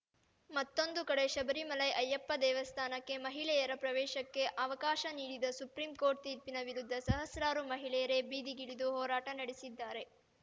ಮತ್ತೊಂದು ಕಡೆ ಶಬರಿಮಲೈ ಅಯ್ಯಪ್ಪ ದೇವಸ್ಥಾನಕ್ಕೆ ಮಹಿಳೆಯರ ಪ್ರವೇಶಕ್ಕೆ ಅವಕಾಶ ನೀಡಿದ ಸುಪ್ರಿಂ ಕೋಟ್‌ರ್‍ ತೀರ್ಪಿನ ವಿರುದ್ಧ ಸಹಸ್ರಾರು ಮಹಿಳೆಯರೇ ಬೀದಿಗಿಳಿದು ಹೋರಾಟ ನಡೆಸಿದ್ದಾರೆ